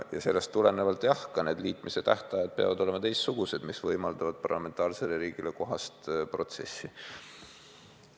Ja sellest tulenevalt peavad ka need liitmise tähtajad olema teistsugused, võimaldades parlamentaarsele riigile kohast protsessi.